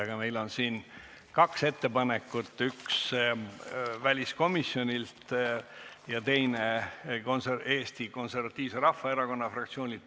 Aga meil on siin kaks ettepanekut, üks väliskomisjonilt ja teine Eesti Konservatiivse Rahvaerakonna fraktsioonilt.